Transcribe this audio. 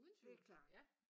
Det klart